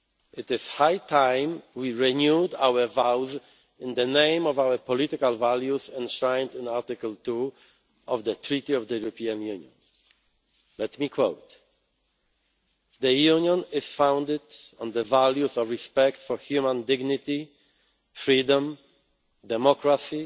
It is high time we renewed our vows in the name of our political values enshrined in Article 2 of the Treaty on the European Union. Let me quote The EU is founded on the values of respect for human dignity, freedom,